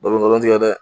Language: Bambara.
Balo tigɛ dɛ